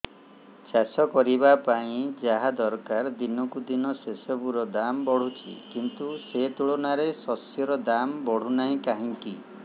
ଚାଷ କରିବା ପାଇଁ ଯାହା ଦରକାର ଦିନକୁ ଦିନ ସେସବୁ ର ଦାମ୍ ବଢୁଛି କିନ୍ତୁ ସେ ତୁଳନାରେ ଶସ୍ୟର ଦାମ୍ ବଢୁନାହିଁ କାହିଁକି